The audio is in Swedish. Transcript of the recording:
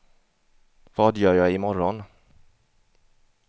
vad gör jag imorgon